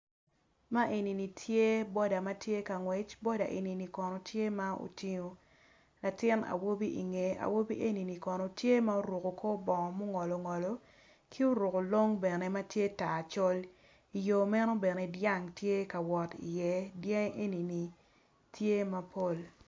Man eni ni tye boda matye kangwec boda eni ni kono tye ma otingo latin awobi ingeye awobi eni kono oruko kor bongo ma ongolo ongolo ki oruko longo bene matye tar col iyo meno bene dyang tye ka wot i iye dyangi eni ni tye mapol